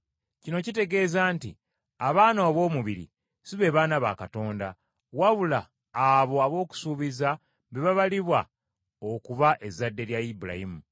Kino kitegeeza nti abaana ab’omubiri si be baana ba Katonda, wabula abo ab’okusuubiza be babalibwa okuba ezzadde lya Ibulayimu.